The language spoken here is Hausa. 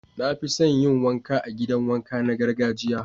Na fi son yin wanka a'gidan wanka na gargajiya.